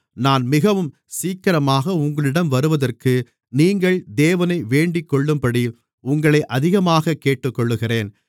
நான் மிகவும் சீக்கிரமாக உங்களிடம் வருவதற்கு நீங்கள் தேவனை வேண்டிக்கொள்ளும்படி உங்களை அதிகமாகக் கேட்டுக்கொள்ளுகிறேன்